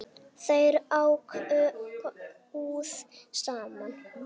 Þau ráku búð saman.